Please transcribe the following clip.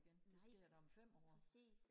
nej præcis